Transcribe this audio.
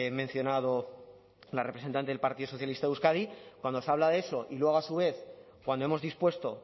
mencionado la representante del partido socialista de euskadi cuando se habla de eso y luego a su vez cuando hemos dispuesto